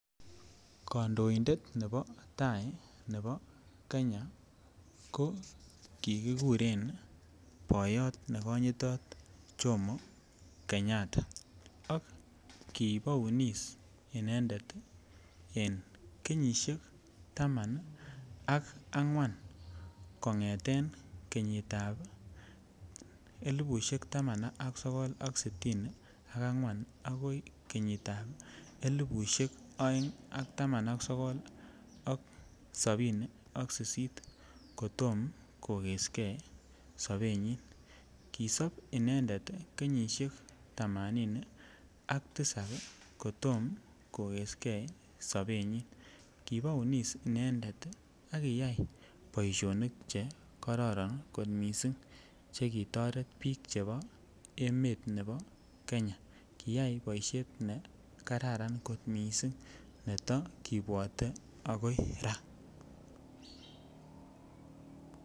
Kondoindet nebo taii nebo Kenya ko kikikuren boyot nekonyitot Jomo kenyatta ak kibounis inendet en kenyishek taman ak angwan kongeten kenyitab elibushek taman ak sokol ak sitini ak angwan akoi kenyitab elibushek oeng ak taman ak sokol ak sobini ak sisit kotom kokeske sobenyin, kisob inendet kenyishek tamanini ak tisab kotom kokeskei sobenyin, kibounis inendet ak kiyai boishonik chekororon kot mising chekitoret biik chebo emet nebo Kenya, kiyai boishet nekararn kot mising netokibwote akoi raa.